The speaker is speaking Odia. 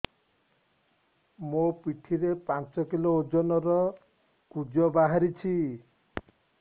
ମୋ ପିଠି ରେ ପାଞ୍ଚ କିଲୋ ଓଜନ ର କୁଜ ବାହାରିଛି